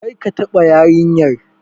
Kar ka taɓa yarinyar!